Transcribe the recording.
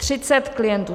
Třicet klientů!